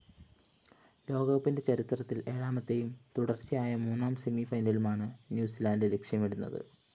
ലോകകപ്പിന്റെ ചരിത്രത്തില്‍ ഏഴാമത്തെയും തുടര്‍ച്ചയായ മൂന്നാം സെമിഫൈനലുമാണ് ന്യൂസിലാന്‍ഡ് ലക്ഷ്യമിടുന്നത്